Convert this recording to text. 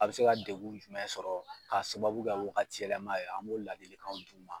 A bɛ se ka degun jumɛn sɔrɔ ka sababu kɛ wagati yɛlɛma ye an b'o ladilikanw d'u ma.